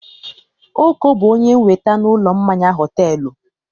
Oko bụ onye wẹ́ta n'ụlọ mmanya họtelụ.